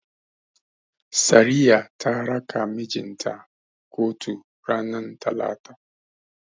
Sariya ta raka mijin ta kotu ranar Talata.